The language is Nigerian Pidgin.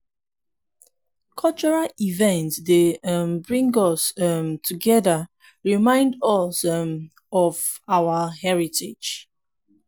cultural events dey um bring us um together and remind us um of our heritage.